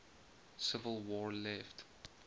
civil war left